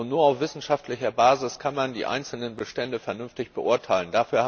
Und nur auf wissenschaftlicher Basis kann man die einzelnen Bestände vernünftig beurteilen.